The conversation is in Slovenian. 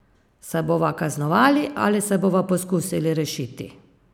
Se bova kaznovali ali se bova poskušali rešiti?